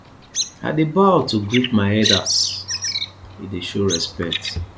i dey bow to greet my elders e dey show respect